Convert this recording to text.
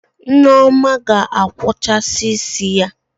Nneoma ga-akwọcha isi ya